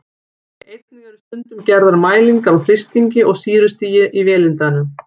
Einnig eru stundum gerðar mælingar á þrýstingi og sýrustigi í vélindanu.